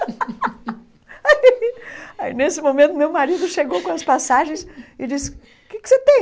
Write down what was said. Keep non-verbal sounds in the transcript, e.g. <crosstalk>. <laughs> Aí aí, nesse momento, meu marido chegou com as passagens e disse, o que que você tem?